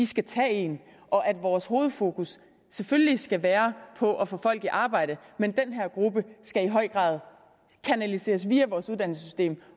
skal tage en og at vores hovedfokus selvfølgelig skal være på at få folk i arbejde men den her gruppe skal i høj grad kanaliseres videre via vores uddannelsessystem